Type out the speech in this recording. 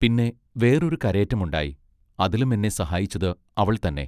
പിന്നെ വേറൊരു കരേറ്റം ഉണ്ടായി. അതിലും എന്നെ സഹായിച്ചത് അവൾ തന്നെ.